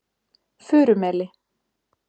Furumeli